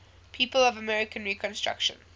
people of american reconstruction